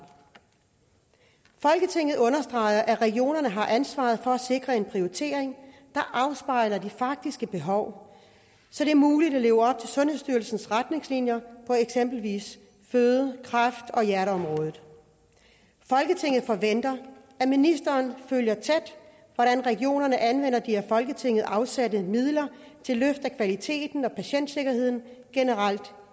folketinget understreger at regionerne har ansvaret for at sikre en prioritering der afspejler de faktiske behov så det er muligt at leve op til sundhedsstyrelsens retningslinjer på eksempelvis føde kræft og hjerteområdet folketinget forventer at ministeren følger tæt hvordan regionerne anvender de af folketinget afsatte midler til løft af kvaliteten og patientsikkerheden generelt